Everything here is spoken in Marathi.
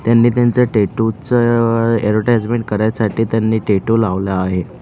त्यांनी त्यांचं टॅटू चं ऍडवटाइजमेंट करायसाठी त्यांनी टॅटू लावला आहे.